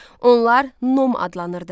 Onlar nom adlanırdı.